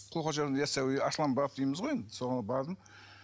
яссауи арыстанбап дейміз ғой енді соған бардым